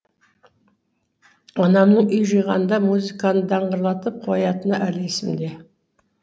анамның үй жиғанда музыканы даңғырлатып қоятыны әлі есімде